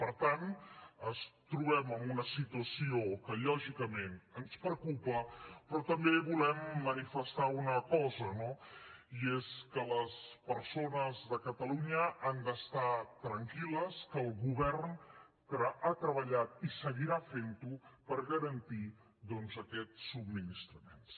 per tant ens trobem en una situació que lògicament ens preocupa però també volem manifestar una cosa no i és que les persones de catalunya han d’estar tranquil·les que el govern ha treballat i seguirà fentho per garantir doncs aquests subministraments